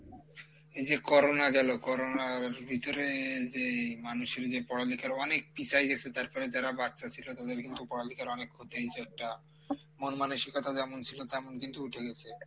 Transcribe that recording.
এইযে Corona গেলো Corona আর ভিতরে যেই মানুষের যে পড়ালিখার অনেক পিছায় গেছে তারপরে যারা বাচ্চা ছিলো তাদের কিন্তু পড়ালিখার অনেক ক্ষতি এইযে একটা মন মানসিকতা যেমন ছিলো তেমন কিন্তু উঠে গেছে,